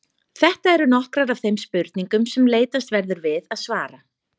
Þetta eru nokkrar af þeim spurningum sem leitast verður við að svara.